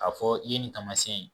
A fɔ i ye nin taamasiyɛn ye